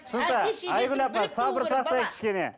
түсінікті айгүл апай сабыр сақтайық кішкене